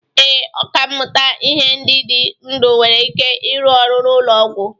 Ee, ọkà mmụta ihe ndị dị ndụ nwere ike ịrụ ọrụ n'ụlọ ọgwụ.